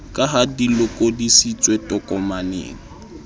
ka ha di lokodisitswe tokomaneng